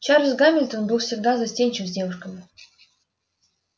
чарльз гамильтон был всегда застенчив с девушками